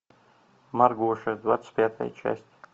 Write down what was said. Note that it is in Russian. маргоша двадцать пятая часть